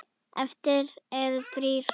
Eftir eru þrír.